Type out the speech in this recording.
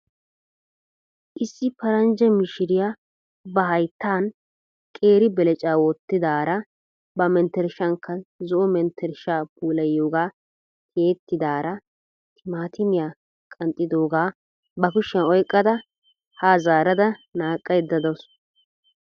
Issi paranjja mishiriya ba hayttan qeeri belecaa wottidaara ba menttershankka zo"o menttershaa puulayiyogaa tiyettidaara timaatimiya qanxxidoogaa ba kushiyan oyqqada haa zaarada naaqqaydda dawus.